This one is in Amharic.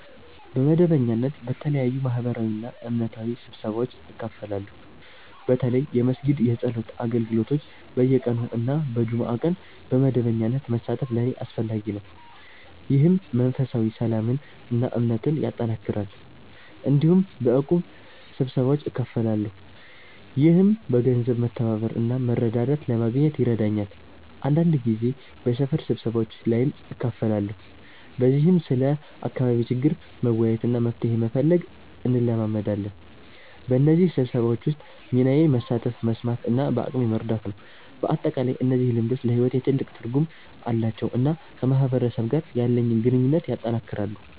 በመደበኛነት በተለያዩ ማህበራዊና እምነታዊ ስብሰባዎች እካፈላለሁ። በተለይ የመስጊድ የጸሎት አገልግሎቶች በየቀኑ እና በጁምዓ ቀን በመደበኛነት መሳተፍ ለእኔ አስፈላጊ ነው፣ ይህም መንፈሳዊ ሰላምን እና እምነትን ያጠናክራል። እንዲሁም በእቁብ ስብሰባዎች እካፈላለሁ፣ ይህም በገንዘብ መተባበር እና መረዳዳት ለማግኘት ይረዳኛል። አንዳንድ ጊዜ በሰፈር ስብሰባዎች ላይም እካፈላለሁ፣ በዚህም ስለ አካባቢ ችግር መወያየት እና መፍትሄ መፈለግ እንለማመዳለን። በእነዚህ ስብሰባዎች ውስጥ ሚናዬ መሳተፍ፣ መስማት እና በአቅሜ መርዳት ነው። በአጠቃላይ እነዚህ ልምዶች ለሕይወቴ ትልቅ ትርጉም አላቸው እና ከማህበረሰብ ጋር ያለኝን ግንኙነት ያጠናክራሉ።